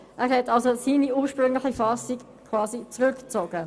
Er hat seine ursprüngliche Fassung gewissermassen zurückgezogen.